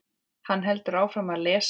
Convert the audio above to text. Hann heldur áfram að lesa: